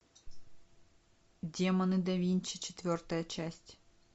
демоны да винчи четвертая часть